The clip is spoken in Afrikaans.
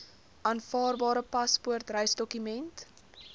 aanvaarbare paspoort reisdokument